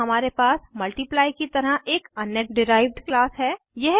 अब हमारे पास मल्टीप्लाई की तरह एक अन्य डिराइव्ड क्लास है